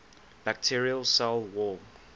bacterial cell wall